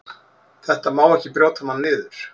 Þetta má ekki brjóta mann niður.